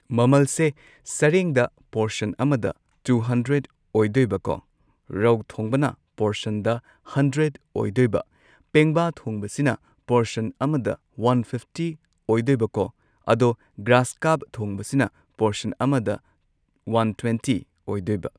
ꯃꯃꯜꯁꯦ ꯁꯔꯦꯡꯗ ꯄꯣꯔꯁꯟ ꯑꯃꯗ ꯇꯨ ꯍꯟꯗ꯭ꯔꯦꯗ ꯑꯣꯏꯗꯣꯏꯕꯀꯣ ꯔꯧ ꯊꯣꯡꯕꯅ ꯄꯣꯔꯁꯟꯗ ꯍꯟꯗ꯭ꯔꯦꯗ ꯑꯣꯏꯗꯣꯏꯕ ꯄꯦꯡꯕꯥ ꯊꯣꯡꯕꯁꯤꯅ ꯄꯣꯔꯁꯟ ꯑꯃꯗ ꯋꯥꯟ ꯐꯤꯐꯇꯤ ꯑꯣꯏꯗꯣꯏꯕꯀꯣ ꯑꯗꯣ ꯒ꯭ꯔꯥꯁꯀꯥꯞ ꯊꯣꯡꯕꯁꯤꯅ ꯄꯣꯔꯁꯟ ꯑꯃꯗ ꯋꯥꯟ ꯇ꯭ꯋꯦꯟꯇꯤ ꯑꯣꯏꯗꯣꯏꯕ